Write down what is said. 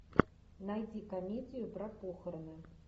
найди комедию про похороны